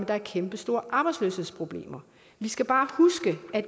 er kæmpe store arbejdsløshedsproblemer vi skal bare huske at